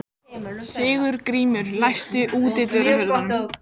Sigurgrímur, læstu útidyrunum.